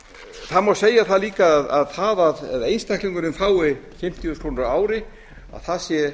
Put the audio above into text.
það má segja það líka að það að einstaklingurinn fái fimmtíu krónur á ári sé